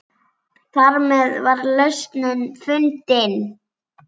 Þarmeð var lausnin fundin.